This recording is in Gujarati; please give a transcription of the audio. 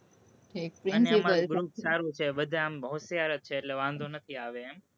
અને અમારું group સારું છે, બધા આમ હોશિયાર જ છે, એટલે એમ વાંધો નથી આવે એમ.